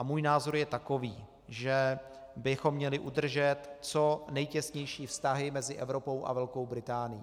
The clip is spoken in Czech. A můj názor je takový, že bychom měli udržet co nejtěsnější vztahy mezi Evropou a Velkou Británií.